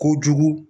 Kojugu